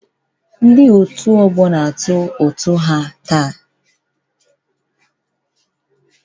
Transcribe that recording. Ndị nọ na ọkwa afọ na-akwụ ụgwọ ha taa